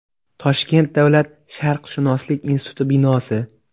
Toshkent davlat sharqshunoslik instituti binosi.